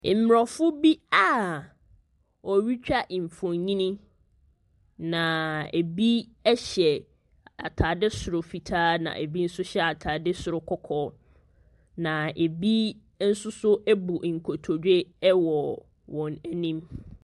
Mborɔfo bi aa wɔretwa nfonyi na ebi ɛhyɛ atade soro fitaa na ebi nso hyɛ ataade soro kɔkɔɔ. Na ebi nsoso abu nkotodwe ɛwɔ wɔn anim.